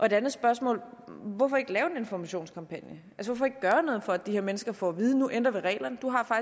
et andet spørgsmål er hvorfor ikke lave en informationskampagne og gøre noget for at de her mennesker får at vide at nu ændrer vi reglerne